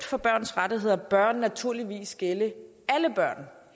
for børns rettigheder bør naturligvis gælde alle børn